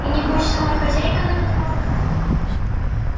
и небось сама хозяйка на козлах